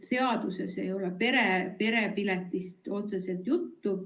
Seaduses ei ole otseselt perepiletist juttu.